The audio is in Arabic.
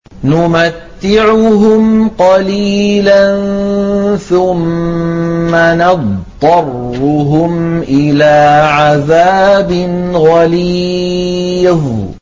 نُمَتِّعُهُمْ قَلِيلًا ثُمَّ نَضْطَرُّهُمْ إِلَىٰ عَذَابٍ غَلِيظٍ